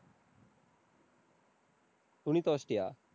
துணி துவைச்சிட்டியா?